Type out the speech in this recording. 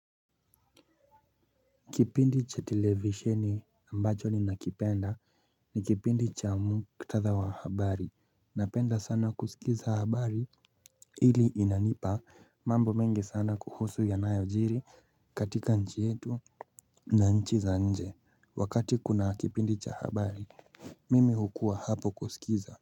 Kipindi cha televisheni ambacho ninakipenda ni kipindi cha muktadha wa habari napenda sana kusikiza habari ili inanipa mambo mengi sana kuhusu yanayojiri katika nchi yetu na nchi za nje wakati kuna kipindi cha habari mimi hukuwa hapo kusikiza.